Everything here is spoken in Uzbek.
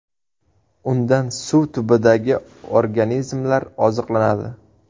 Undan suv tubidagi organizmlar oziqlanadi.